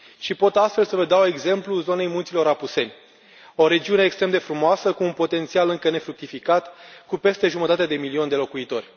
Și pot astfel să vă dau exemplul zonei Munților Apuseni, o regiune extrem de frumoasă, cu un potențial încă nefructificat, cu peste jumătate de milion de locuitori.